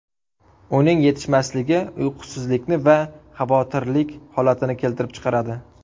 Uning yetishmasligi uyqusizlikni va xavotirlik holatini keltirib chiqaradi.